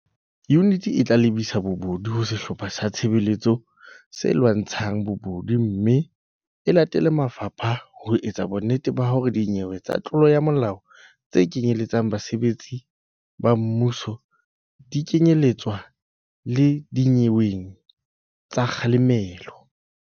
Yuniti e tla lebisa dinyewe tsa bobodu ho Sehlopha sa Tshebetso se Lwantsha ng Bobodu mme e latele mafapha ho etsa bonnete ba hore dinyewe tsa tlolo ya molao tse kenyeletsang basebetsi ba mmuso di kenye letswa le dinyeweng tsa kga lemelo.